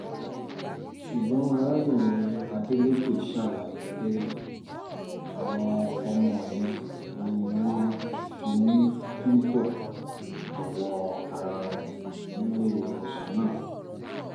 ṣùgbọ́n arábìnrin adeleke ṣàlàyé pé àwọn ọmọ yẹn ni wọ́n finú-fíndọ̀ jọ̀wọ́ ara wọn nílé ìwòsàn náà